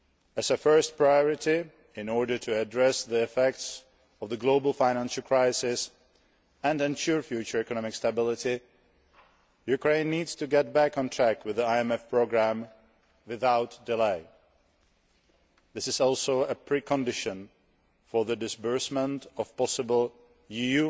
As a first priority, in order to address the effects of the global financial crisis and ensure future economic stability, Ukraine needs to get back on track with the IMF programme, without delay. This is also a precondition for the disbursement of possible